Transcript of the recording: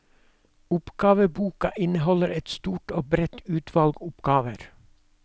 Oppgaveboka inneholder et stort og bredt utvalg oppgaver.